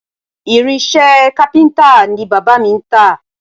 Irinṣẹ́ kápíntà ni bàbá mi ń tà